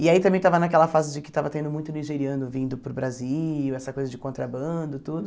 E aí também estava naquela fase de que estava tendo muito nigeriano vindo para o Brasil, essa coisa de contrabando, tudo.